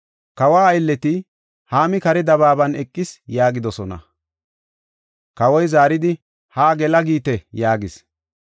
Kawa aylleti, “Haami kare dabaaban eqis” yaagidosona. Kawoy zaaridi, “Haa gela giite” yaagis.